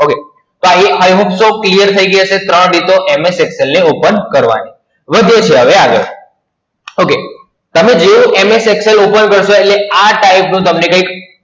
ભાઈઓ અમુક તો clear થઈ ગઈ હશે ત્રણ રીતો MS Excel ને open કરવાની, વધીએ છીએ હવે આગળ, Okay તમે જોયું MS Excel open કરતાં હોઈએ આ type નું તમને કઈક